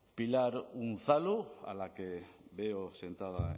pilar unzalu a la que veo sentada